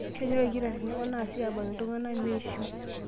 Kenyok lkitarini oo naasi aabak iltung'ana meeishiu